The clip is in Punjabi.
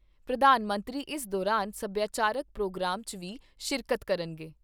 ਪ੍ਰਧਾਨ ਮੰਤਰੀ ਇਸ ਦੌਰਾਨ ਸਭਿਆਚਾਰਕ ਪ੍ਰੋਗਰਾਮ 'ਚ ਵੀ ਸ਼ਿਰਕਤ ਕਰਨਗੇ।